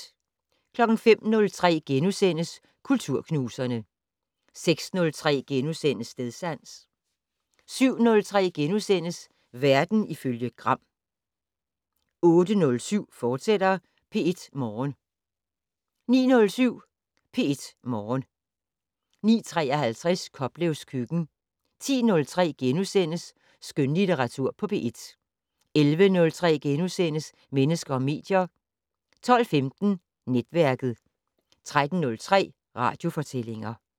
05:03: Kulturknuserne * 06:03: Stedsans * 07:03: Verden ifølge Gram * 08:07: P1 Morgen, fortsat 09:07: P1 Morgen 09:53: Koplevs køkken 10:03: Skønlitteratur på P1 * 11:03: Mennesker og medier * 12:15: Netværket 13:03: Radiofortællinger